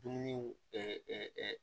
Dumuniw